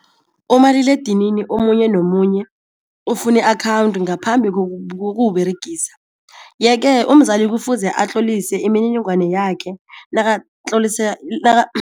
Umaliledinini omunye nomunye ufuna i-akhawundi ngaphambi kokuwUberegisa yeke umzali kufuze atlolise imininingwana yakhe nakatlolisa